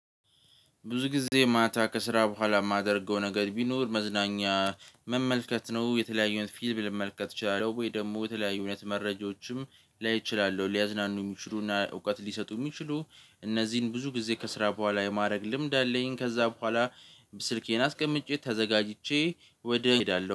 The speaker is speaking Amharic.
ብዙ ጊዜ ማታ ከስራ በኋላ ማደርገው ነገር ቢኖር መዝናኛ መመልከት ነው። የተለያዩን አይነት ፊልም ልመልከት እችላለሁ ወይ ደግሞ የተለያዩ አይነት መረጃዎችም ላይ ችላለሁ ሊያዝናኑኝ ሚችሉና እውቀት ሊሰጡ ሚችሉ እነዚህን ብዙ ጊዜ ከስራ በኋላ የማድረግ ልምድ አለኝ ከዛ በኋላ ስልኬን አስቀምጬ ተዘጋጅቼ ወደ ሄዳለሁ